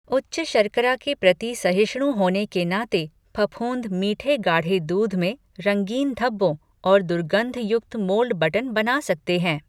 उच्च शर्करा के प्रति सहिष्णु होने के नाते फफूंद मीठे गाढ़े दूध में रंगीन धब्बों और दुर्गंधयुक्त मोल्ड बटन बना सकते हैं।